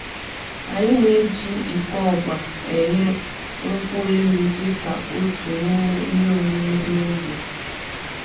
Anyị na-eji iko ọgba enye nkwụ elụ dịka otu n'ime ihe emume n'ogbe